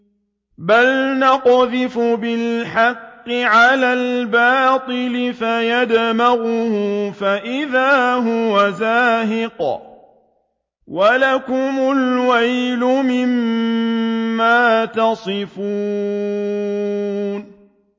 بَلْ نَقْذِفُ بِالْحَقِّ عَلَى الْبَاطِلِ فَيَدْمَغُهُ فَإِذَا هُوَ زَاهِقٌ ۚ وَلَكُمُ الْوَيْلُ مِمَّا تَصِفُونَ